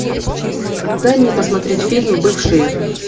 дай мне посмотреть фильм бывшие